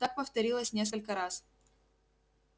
так повторилось несколько раз